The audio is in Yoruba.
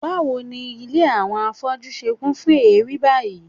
Báwo ni ilé àwọn afọ́jú ṣe kún fún èérí báyìí?